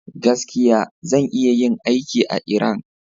Gaskiya, zan iya yin aikin a Iran.